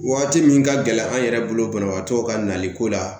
Waati min ka gɛlɛn an yɛrɛ bolo banabaatɔw ka naliko la